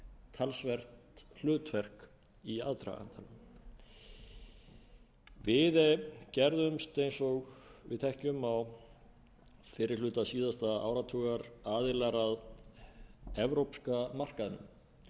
talsvert hlutverk í aðdragandanum við gerðumst eins og við þekkjum á fyrri hluta síðasta áratugar aðilar að evrópska markaðnum að evrópska efnahagssvæðinu að